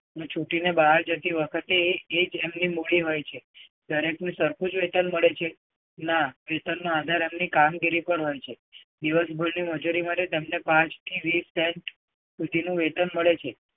છૂટીને બહાર જતી વખતે એ જ એમની મૂડી હોય છે. દરેકને સરખું જ વેતન મળે છે? ના વેતનનો આધાર એમની કામગીરી પર હોય છે. દિવસભરની મજૂરી મળે તેમણે પાંચ થી વીસ cent સુધીનું વેતન મળે છે.